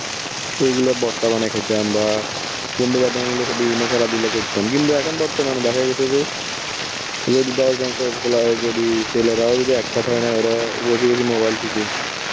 এইগুলা ভর্তা বানাই খেতাম, বা বন্ধুবান্ধব মিলে বিভিন্ন খেলাধুলা করতাম, কিন্তু এখন বর্তমানে দেখা গেছে যে যদি দশ জন যদি ছেলেরাও যদি একসাথে হয় না, ওরা বসে বসে mobile টিপে.